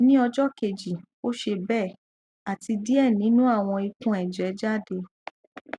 ni ọjọ keji o ṣe be ati diẹ ninu awọn ikunẹjẹ jade